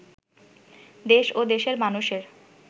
দেশ ও দেশের মানুষের